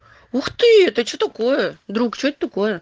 ух ты это что такое друг что это такое